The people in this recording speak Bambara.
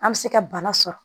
An bɛ se ka bana sɔrɔ